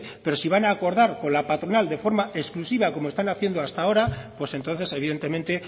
pero si van a acordar con la patronal de forma exclusiva como están haciendo hasta ahora pues entonces evidentemente